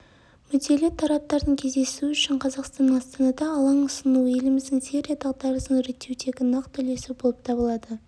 мүдделі тараптардың кездесуі үшін қазақстанның астанада алаң ұсынуы еліміздің сирия дағдарысын реттеудегі нақты үлесі болып табылады